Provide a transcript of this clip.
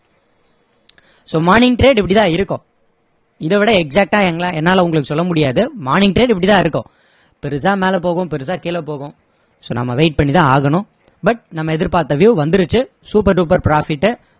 so morning trade இப்படி தான் இருக்கும் இதை விட exact ஆ எங்கலா~ என்னால உங்களுக்கு சொல்ல முடியாது morning trade இப்படி தான் இருக்கும் பெருசா மேல போகும் பெருசா கீழ போகும் so நம்ம wait பண்ணி தான் ஆகணும் but நம்ம எதிர்ப்பார்த்த view வந்திருச்சு supe duper profit உ